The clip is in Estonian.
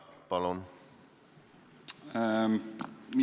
Palun!